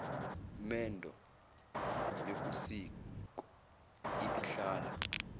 mendo yokosiko ibihlala